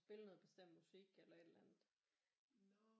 Spille noget bestemt musik eller et eller andet